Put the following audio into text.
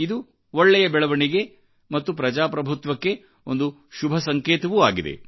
ಇದು ಒಳ್ಳೆಯ ಬೆಳವಣಿಗೆ ಮತ್ತು ಪ್ರಜಾಪ್ರಭುತ್ವಕ್ಕೆ ಒಂದು ಶುಭಸಂಕೇತವೂ ಆಗಿದೆ